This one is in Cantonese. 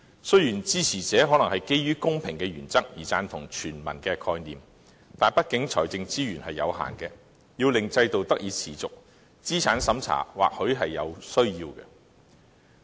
雖然支持者可能基於公平的原則而贊同全民的概念，但畢竟財政資源有限，要令制度得以持續，資產審查或許是有需要的。